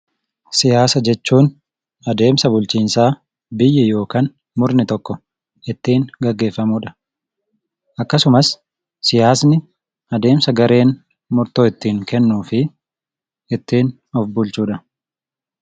Siyaasa jechuun adeemsa bulchiisaa biyya yookan murni tokko ittiin gaggeeffamudha. Akkasumas siyaasni adeemsa gareen murtoo ittiin kennuufi ittiin of bulchudha.